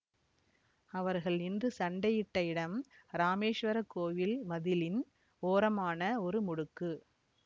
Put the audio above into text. அவர்கள் நின்று சண்டையிட்ட இடம் இராமேசுவரக் கோயில் மதிலின் ஓரமான ஒரு முடுக்கு